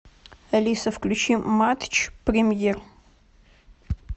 алиса включи матч премьер